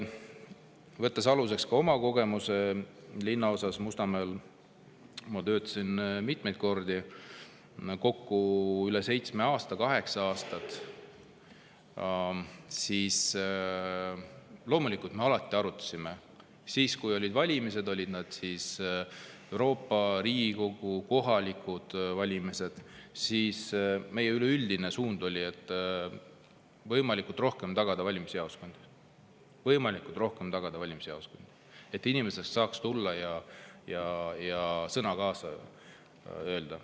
Võttes aluseks oma kogemuse Mustamäe linnaosas, kus ma töötasin kokku üle seitsme aasta, peaaegu kaheksa aastat, ma ütlen, et loomulikult me alati arutasime siis, kui olid valimised – olid need siis Euroopa, Riigikogu või kohalikud valimised –, et meie üleüldine suund on tagada võimalikult rohkem valimisjaoskondi, et inimesed saaks tulla ja sõna sekka öelda.